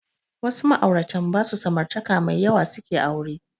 Wasu ma'auratan ba su samartaka mai yawa suke aure